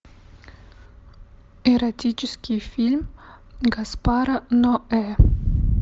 эротический фильм гаспара ноэ